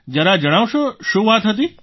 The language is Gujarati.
જરા જણાવશો શું વાત હતી